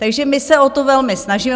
Takže my se o to velmi snažíme.